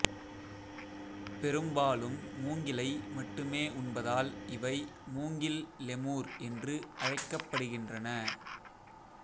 பெரும்பாலும் மூங்கிலை மட்டுமே உண்பதால் இவை மூங்கில் லெமூர் என்று அழைக்கப்படுகின்றன